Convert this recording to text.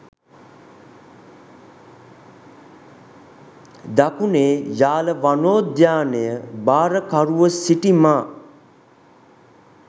දකුණේ යාල වනෝද්‍යානය භාරකරුව සිටි මා